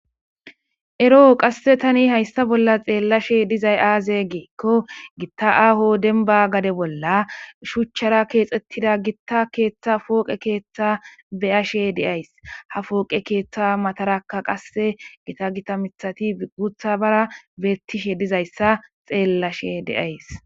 Ero tani hayissa bolla xellashe dizzayi azze gikko gitta aaho dembba gadde bolla shuchchara kexxetida gitta poqqe keththa be'ashe de'ayiss ha poqqe keththa mattaraka qase gitta gitta miththati guththabara bettishe dizayissa xellashe de'ayis.